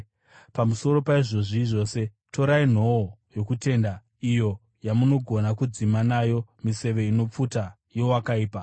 Pamusoro paizvozvi zvose, torai nhoo yokutenda, iyo yamunogona kudzima nayo miseve inopfuta yowakaipa.